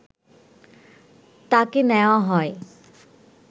তাকে নেয়া হয়